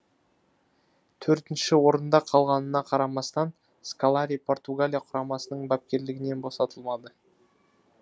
төртінші орында қалғанына қарамастан сколари португалия құрамасының бапкерлігінен босатылмады